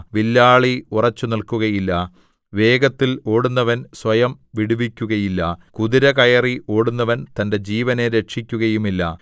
വില്ലാളി ഉറച്ചുനിൽക്കുകയില്ല വേഗത്തിൽ ഓടുന്നവൻ സ്വയം വിടുവിക്കുകയില്ല കുതിര കയറി ഓടുന്നവൻ തന്റെ ജീവനെ രക്ഷിക്കുകയുമില്ല